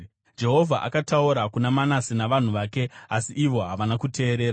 Jehovha akataura kuna Manase navanhu vake, asi ivo havana kuteerera.